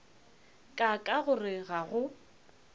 ka ka gore ga go